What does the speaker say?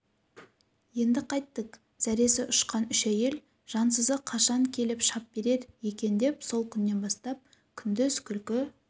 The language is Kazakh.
енді қайттк зәрес ұшқан үш әйел жансызы қашан келіп шап берер екен деп сол күннен бастап күндіз күлкі